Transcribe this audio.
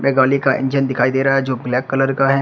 एक गाली का इंजन दिखाई दे रहा है जो ब्लैक कलर का है।